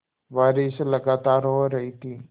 बारिश लगातार हो रही थी